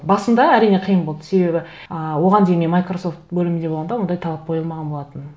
басында әрине қиын болды себебі ы оған дейін мен майкрососфт бөлімінде болғанда ондай талап қойылмаған болатын